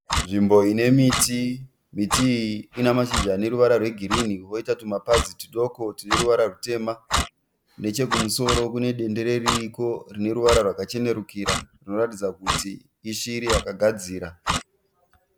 Nzvimbo ine miti, miti iyi ine mashizha ane ruvara rwegirini koita tumapazi tudoko tune ruvara rutema. Nechekumusoro kune dendere ririko rine ruvara rwakachenerukira rinoratidza kuti ishiri yakagadzira.